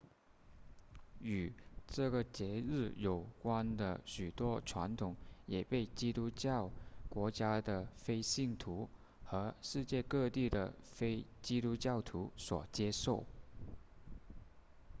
与这个节日有关的许多传统也被基督教国家的非信徒和世界各地的非基督徒所接受